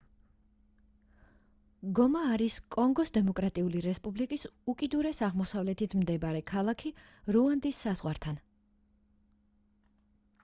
გომა არის კონგოს დემოკრატიული რესპუბლიკის უკიდურეს აღმოსავლეთით მდებარე ქალაქი რუანდის საზღვართან